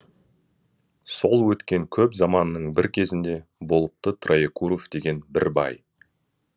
сол өткен көп заманның бір кезінде болыпты троекуров деген бір бай